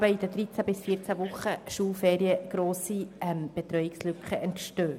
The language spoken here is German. In den 13 bis 14 Wochen Schulferien entstehen dadurch grosse Betreuungslücken.